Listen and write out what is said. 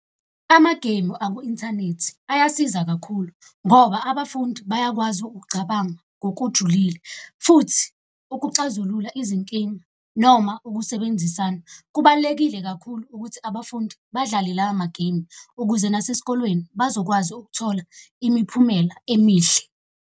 Amageyimu aku-inthanethi ayasiza kakhulu ngoba abafundi bayakwazi ukucabanga ngokujulile, futhi ukuxazulula izinkinga noma ukusebenzisana. Kubalulekile kakhulu ukuthi abafundi badlale lawo mageyimu ukuze nasesikolweni bazokwazi ukuthola imiphumela emihle.